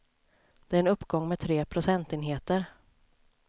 Det är en uppgång med tre procentenheter.